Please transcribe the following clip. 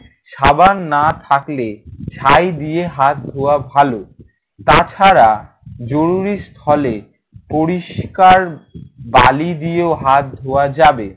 সাবান না থাকলে ছাই দিয়ে হাত ধোয়া ভালো। তাছাড়া জরুরি স্থলে পরিষ্কার বালি দিয়ে হাত ধোয়া যাবে।